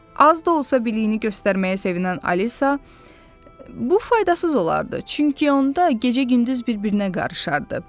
Az da olsa biliyini göstərməyə sevinən Alisa, bu faydasız olardı, çünki onda gecə-gündüz bir-birinə qarışardı.